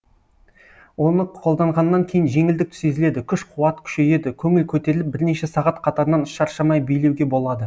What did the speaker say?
оны қолданғаннан кейін жеңілдік сезіледі күш қуат күшейеді көңіл көтеріліп бірнеше сағат қатарынан шаршамай билеуге болады